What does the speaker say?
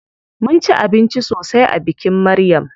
Mun ci abinci sosai a bikin Maryam.